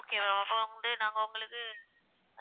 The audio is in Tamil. okay ma'am அப்ப வந்து நாங்க உங்களுக்கு